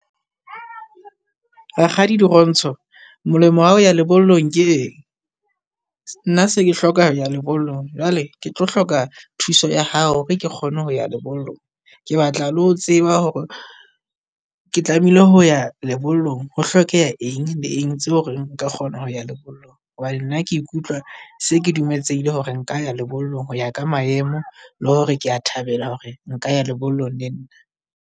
Rakgadi Dirontsho molemo wa hao ya lebollong ke eng? Nna se ke hloka ho ya lebollong, jwale ke tlo hloka thuso ya hao re ke kgone ho ya lebollong. Ke batla le ho tseba hore ke tlamehile ho ya lebollong. Ho hlokeha eng le eng tseo hore nka kgona ho ya lebollong hobane nna ke ikutlwa se ke dumeletsehile hore nka ya lebollong ho ya ka maemo, le hore kea thabela hore nka ya lebollong le nna.